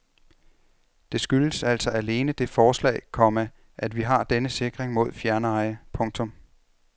Det skyldes altså alene det forslag, komma at vi har denne sikring mod fjerneje. punktum